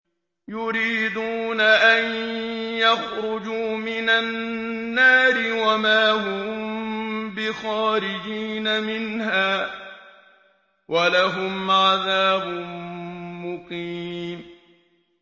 يُرِيدُونَ أَن يَخْرُجُوا مِنَ النَّارِ وَمَا هُم بِخَارِجِينَ مِنْهَا ۖ وَلَهُمْ عَذَابٌ مُّقِيمٌ